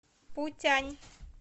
путянь